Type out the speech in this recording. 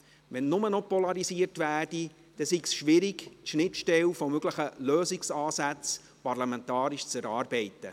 Wenn nur noch polarisiert werde, sei es schwierig, die Schnittstelle von möglichen Lösungsansätzen parlamentarisch zu erarbeiten.